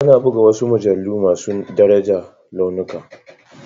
Ana buga wasu mujallu masu daraja launuka.